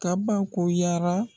Kabakoyara